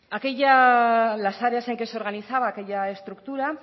aquella las áreas en que se organizaba aquella estructura